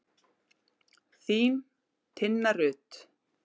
Þín, Tinna Rut.